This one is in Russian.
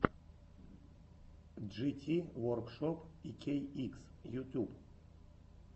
джити воркшоп икейикс ютьюб